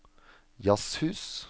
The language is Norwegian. jazzhus